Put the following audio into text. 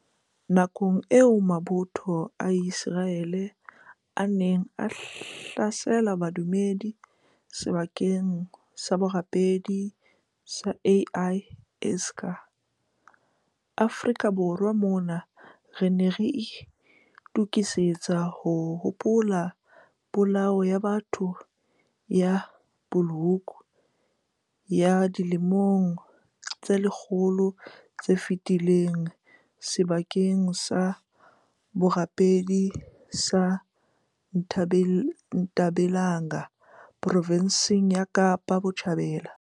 Nakong eo mabotho a Ise raele a neng a hlasela badumedi sebakeng sa borapedi sa Al Aqsa, Afrika Borwa mona re ne re itokisetsa ho hopola Polao ya batho ya Bulhoek ya dilemong tse lekgolo tse fetileng sebakeng sa borapedi sa Ntabelanga provenseng ya Kapa Botjhabela.